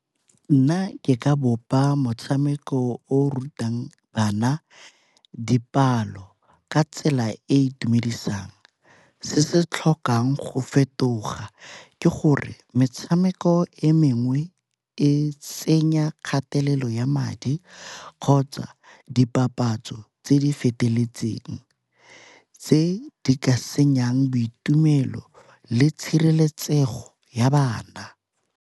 Nna ke ka bopa motshameko o o rutang bana dipalo ka tsela e e itumedisang. Se se tlhokang go fetoga ke gore metshameko e mengwe e tsenya kgatelelo ya madi kgotsa dipapatso tse di feteletseng tse di ka senyang boitumelo le tshireletsego ya bana.